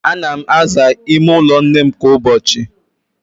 Ạna m aza ime ụlọ nnem kwa ụbọchị